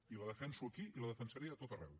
i la defenso aquí i la defensaré a tot arreu